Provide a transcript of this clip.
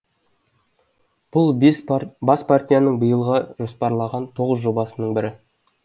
бұл бас партияның биылға жоспарлаған тоғыз жобасының бірі